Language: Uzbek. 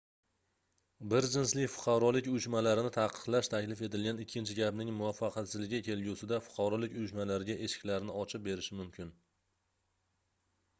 bir jinsli fuqarolik uyushmalarini taqiqlash taklif etilgan ikkinchi gapning muvvaffaqiyatsizligi kelgusida fuqarolik uyushmalariga eshiklarni ochib berishi mumkin